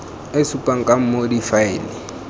e supang ka moo difaele